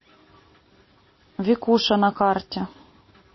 викуша на карте